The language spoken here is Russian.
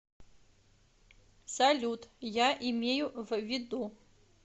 салют я имею в виду